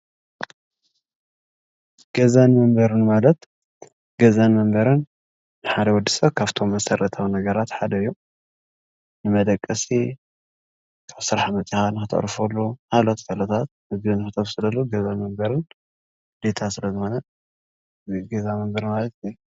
ገዛን መንበሪን ማለት ገዛን መንበሪን ንሓደ ወዲ ሰብ ካብቶም መሰረታዊ ነገራት ሓደ እዩ። ንመደቀሲ ካብ ስራሕ መፂእካ ንክተዕርፈሉ ካልኦት ጥቅምታት ምግብታት ንክተብሰለሉን ገዛ መነበሪን ግዴታ ስለ ዝኮነ ገዛ መነበሪ ማለት ።